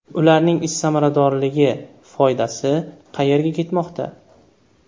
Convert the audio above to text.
Ularning ish samaradorligi, foydasi qayerga ketmoqda?